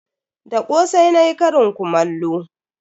Da kosai nayi karin kumallo.